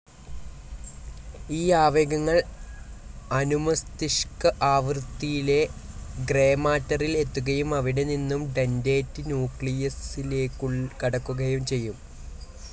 ഈ ആവേഗങ്ങൾ അനുമസ്തിഷ്ക ആവൃതിയിലെ ഗ്രേമാറ്ററിൽ എത്തുകയും അവിടെനിന്നും ഡന്റേറ്റ് ന്യൂക്ളിയസ്സിലേക്കു കടക്കുകയും ചെയ്യും.